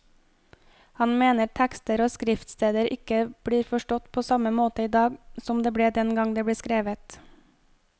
Han mener tekster og skriftsteder ikke blir forstått på samme måte i dag som den gang de ble skrevet.